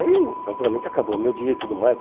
Aí, naturalmente, acabou o meu dia e tudo mais.